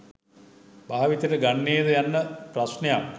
භාවිතයට ගන්නේ ද යන්න ප්‍රශ්නයක්?